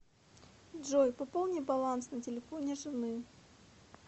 джой пополни баланс на телефоне жены